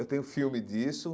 Eu tenho filme disso.